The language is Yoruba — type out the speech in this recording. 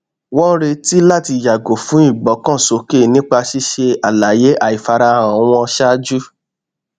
wọn retí láti yàgò fún ìgbọkànsókè nípa ṣíṣe àlàyé àìfarahàn wọn ṣáájú